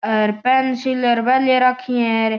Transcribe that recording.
हेर pencil बे ले राखी है।